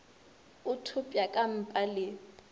o thopša ka mpa le